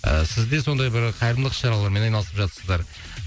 ы сіз де сондай бір қайырымдылық іс шаралармен айналысып жатырсыздар